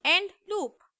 end loop